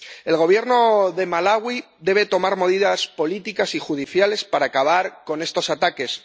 El Gobierno de Malaui debe tomar medidas políticas y judiciales para acabar con estos ataques.